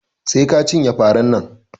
Sai ka cinye faran nan